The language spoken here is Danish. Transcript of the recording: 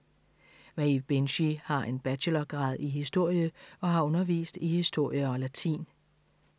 Maeve Binchy har en bachelorgrad i historie og har undervist i historie og latin.